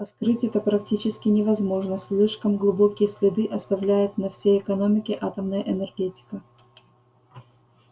а скрыть это практически невозможно слишком глубокие следы оставляет на всей экономике атомная энергетика